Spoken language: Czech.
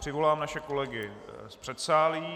Přivolám naše kolegy z předsálí.